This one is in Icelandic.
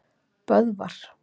Böðvar